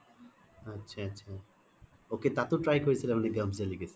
আত্ছা আত্ছা ok তাতো try কৰিছিলা মানে delicacy?